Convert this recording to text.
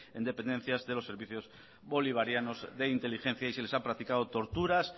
en dependencias de los servicios bolivarianos de inteligencia y se les han practicado torturas